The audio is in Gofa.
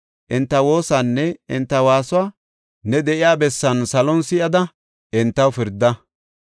enta woosanne enta waasuwa ne de7iya bessan salon si7ada entaw pirda.